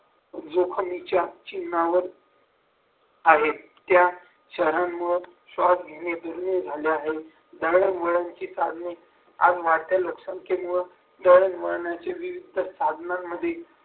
जोखमीच्या चिन्हावर आहेत त्या शहरांमुळे श्वास घेणे दुर्मिळ झाले आहे दळण वळणची साधने आज वाढत्या लोकसंख्येवर दळणवळणाचे विरुद्ध साधनांमध्ये